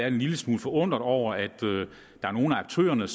en lille smule forundret over at at nogle af aktørerne